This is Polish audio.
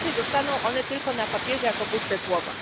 Inaczej zostaną one tylko na papierze jako puste słowa.